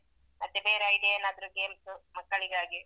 ಮತ್ತೆ ಬೇರೆ idea ಏನಾದ್ರು games ಮಕ್ಕಳಿಗಾಗಿ.